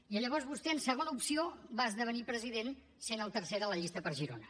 i llavors vostè en segona opció va esdevenir president sent el tercer de la llista per girona